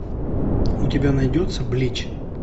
у тебя найдется блич